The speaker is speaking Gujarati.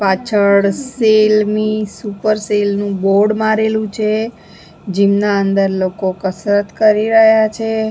પાછળ સેલ મી સુપર સેલ નું બોર્ડ મારેલું છે જીમ નાં અંદર લોકો કસરત કરી રહ્યા છે.